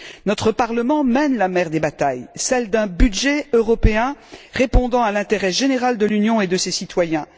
Notre Parlement mène la mère des batailles, celle d'un budget européen répondant à l'intérêt général de l'Union et de ses citoyens.